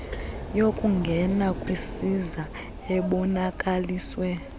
yokungena kwisiza ebonakaliswe